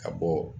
Ka bɔ